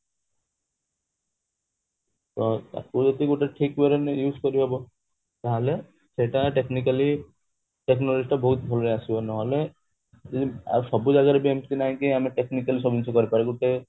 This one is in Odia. ତ ତାକୁ ଯଦି ଗୋଟେ ଠିକ way ରେ ନେଇ use କରିହବ ତାହେଲେ ସେଟା technically technology ଟା ବହୁତ ଭଲସେ ଆସିବ ନହେଲେ ସବୁ ଜାଗାରେ ବି ଏମିତି ନାଇ କି ଆମେ technically ସବୁ ଜିନିଷ କରିପାରିବା ଗୋଟେ